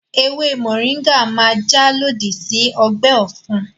Ewé mọ̀ríńgà máa jà lòdì sí ọgbẹ́ ọ̀fun